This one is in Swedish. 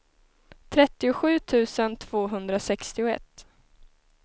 trettiosju tusen tvåhundrasextioett